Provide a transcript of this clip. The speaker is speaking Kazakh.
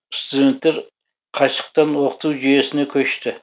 студенттер қашықтан оқыту жүйесіне көшті